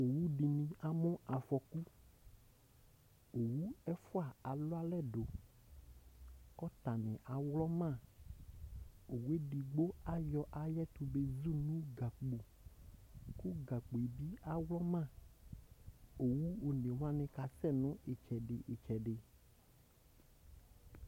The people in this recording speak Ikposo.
Owʋ dɩnɩ amʋ afɔkʋ Owʋ ɛfʋa alʋ alɛ dʋ, kʋ ɔtanɩ aŋlɔ ma Owʋ edigbo ayɔ ayʋ ɛtʋ bezʋ nʋ gakpo, kʋ gakpo yɛ bɩ aŋlɔma Owʋ one wanɩ kasɛ nʋ ɩtsɛdɩ ɩtsɛdɩ